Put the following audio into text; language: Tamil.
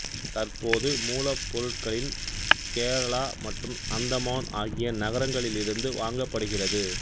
தற்போது மூலப்பொருட்களின் கேரளா மற்றும் அந்தமான் ஆகிய நகரங்களிலிருந்து வாங்கப்படுகிறது